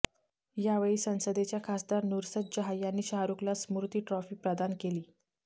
यावेळी संसदेच्या खासदार नुसरत जहाॅं यांनी शाहरुखला स्मृती ट्रॉफी प्रदान केली